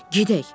Gedək!